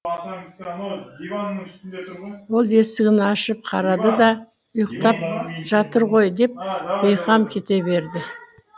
ол есігін ашып қарады да ұйықтап жатыр ғой деп бейқам кете берді